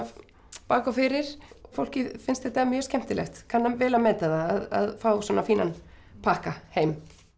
bak og fyrir fólki finnst þetta mjög skemmtilegt kann vel að meta það að fá svona fínan pakka heim